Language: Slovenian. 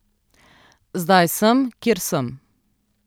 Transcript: Zdaj sem, kjer sem.